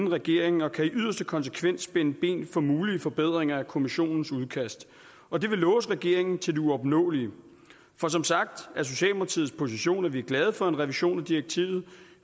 regeringen og kan i yderste konsekvens spænde ben for mulige forbedringer af kommissionens udkast og det vil låse regeringen til det uopnåelige for som sagt er socialdemokratiets position at vi er glade for en revision af direktivet